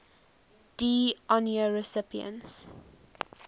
d honneur recipients